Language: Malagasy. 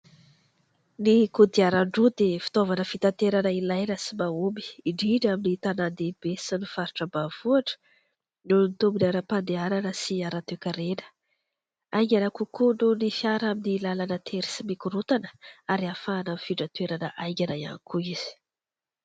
Ny kodiaran-droa dia fitaovana fitaterana ilaina sy mahomby indrindra amin'ny tanàn-dehibe sy ny faritra ambanivohitra noho ny tombony aram-pandehanana sy ara-toe-karena. Haingana kokoa noho ny fiara amin'ny làlana tery sy mikorontana ary ahafahana mifindra toerana haingana ihany koa izy.